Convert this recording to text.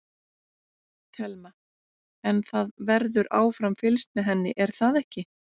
Telma: En það verður áfram fylgst með henni er það ekki?